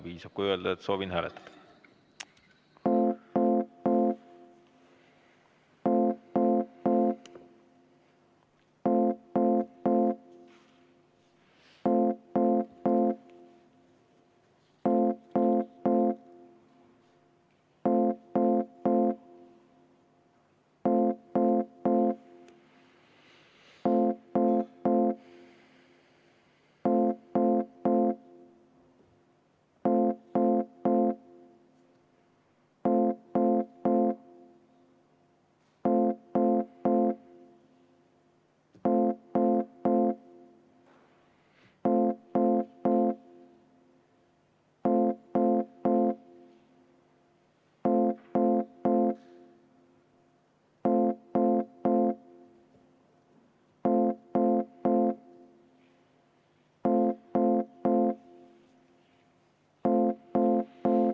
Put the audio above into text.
Piisab, kui öelda, et soovin hääletada.